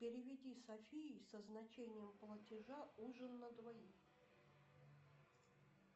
переведи софии со значением платежа ужин на двоих